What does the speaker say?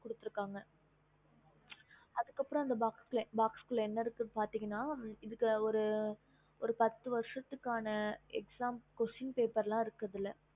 குடுத்து okay இருகாங்க அதுக்கு அப்புறம் அந்த box லஎன்ன இருக்குனு பாத்தீங்கன்னா ஒரு பாத்து வருசத்துக்கான எடுத்துக்காட்டு example இருக்கும்